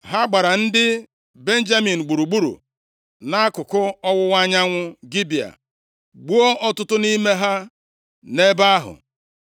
Ha gbara ndị Benjamin gburugburu nʼakụkụ ọwụwa anyanwụ Gibea, gbuo ọtụtụ nʼime ha nʼebe ahụ.